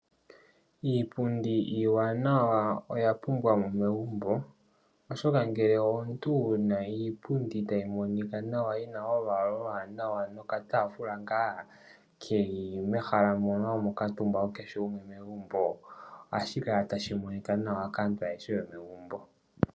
Iipundi iiwanawa oya pumbiwa mo megumbo oshoka ngele omuntu wuna iipundi tayi monika nawa yina olwaala oluwanawa nokataafula ngaa keli mehala mono hamu kuutumba kehe gumwe megumbk ohashi kala tashi monika nawa kaantu ayehe yomegumbo.